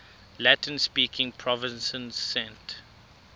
latin speaking provinces sent